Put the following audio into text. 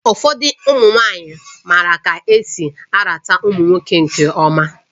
Ụfọdụ ụmụ nwanyị maara ka esi arata ụmụ nwoke nke ọma